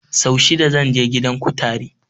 Sau shida zan je gidan kutare